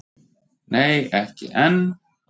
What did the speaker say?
Nei ekki enn.